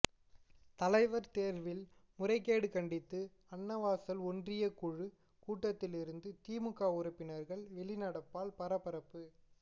தலைவர் தேர்வில் முறைகேடு கண்டித்து அன்னவாசல் ஒன்றியக்குழு கூட்டத்திலிருந்து திமுக உறுப்பினர்கள் வெளிநடப்பால் பரபரப்பு